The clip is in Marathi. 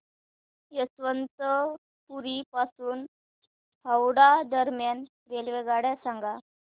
यशवंतपुर पासून हावडा दरम्यान रेल्वेगाड्या सांगा